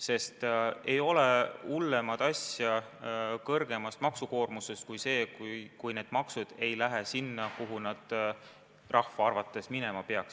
Sest veel hullem kui kõrgem maksukoormus on see, kui maksuraha ei lähe sinna, kuhu see rahva arvates minema peaks.